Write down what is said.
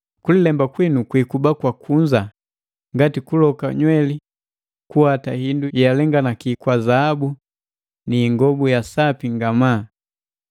Kulilemba kwinu kwiikuba kwa kunza, ngati kuloka nyweli, kuwata hindu yealenganaki kwa zaabu niingobu ya sapi ngamaa.